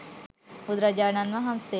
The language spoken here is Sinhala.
බුදුරජාණන් වහන්සේ